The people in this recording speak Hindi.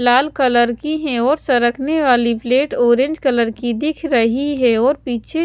लाल कलर की है और सरकने वाली प्लेट ऑरेंज कलर की दिख रही है और पीछे--